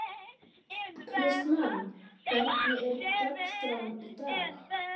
Og guðdómur ykkar frænda yfir alla krítík hafinn.